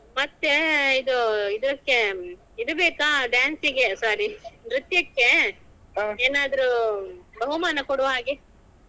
ಮತ್ತೆ ಇದ್ ಇದಕ್ಕೆ ಇದು ಬೇಕಾ dance ಗೆ sorry ನೃತ್ಯಕ್ಕೆ ಏನಾದ್ರು ಬಹುಮಾನ ಕೊಡುವ ಹಾಗೆ.